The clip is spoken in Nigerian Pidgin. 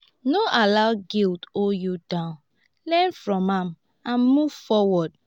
no allow guilt hold you down learn from am and move forward.